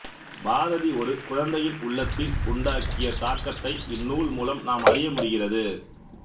பாரதி ஒரு குழந்தையின் உள்ளத்தில் உண்டாக்கிய தாக்கத்தை இந்நூல் மூலம் நாம் அறிய முடிகிறது